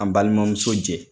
An balimamuso jɛ